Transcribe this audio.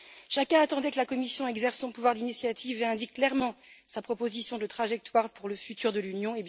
Chacun attendait que la Commission exerce son pouvoir d'initiative et indique clairement sa proposition de trajectoire pour l'avenir de l'Union.